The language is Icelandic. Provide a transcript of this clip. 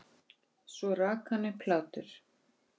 Hann silast ekkert.